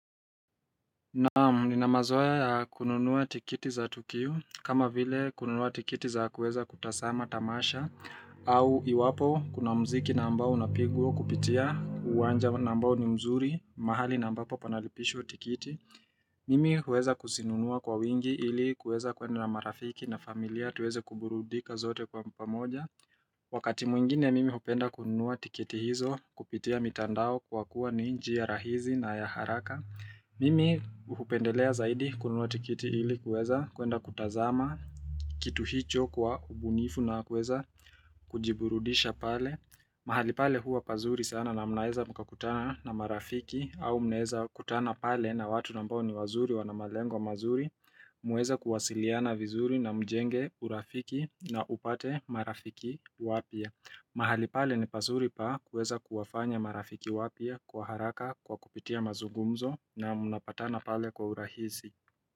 Naam nina mazoea ya kununua tiketi za tukio kama vile kununua tiketi za kuweza kutazama tamasha au iwapo kuna muziki na ambao unapigwa kupitia uwanja na ambao ni mzuri mahali na ambapo panalipishwa tiketi Mimi huweza kuzinunua kwa wingi ili kuweza kwenda na marafiki na familia tuweze kuburudika sote kwa pamoja Wakati mwingine mimi upenda kununua tiketi hizo kupitia mitandao kwa kuwa ni njia rahisi na ya haraka Mimi hupendelea zaidi kununua tiketi hili kuweza kuenda kutazama kitu hicho kwa ubunifu na kuweza kujiburudisha pale mahali pale huwa pazuri sana na mnaweza mkakutana na marafiki au mnaweza kutana pale na watu ambao ni wazuri wanamalengo mazuri muweze kuwasiliana vizuri na mjenge urafiki na upate marafiki wapya mahali pale ni pazuri pakuweza kuwafanya marafiki wapya kwa haraka kwa kupitia mazungumzo na munapatana pale kwa urahisi.